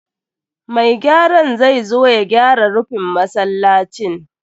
Mai gyaran zai zo ya gyara rufin masallacin.